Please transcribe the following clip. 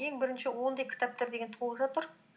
ең бірінші ондай кітаптар деген толып жатыр